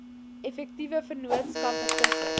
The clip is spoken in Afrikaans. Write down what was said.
effektiewe vennootskappe tussen